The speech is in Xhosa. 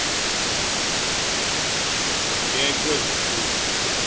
ke kwezi ntsuku